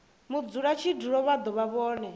mudzulatshidulo vha do vha vhone